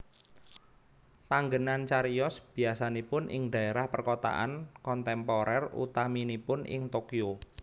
Panggenan cariyos biasanipun ing daerah perkotaan kontemporer utaminipun ing Tokyo